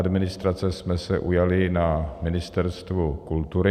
Administrace jsme se ujali na Ministerstvu kultury.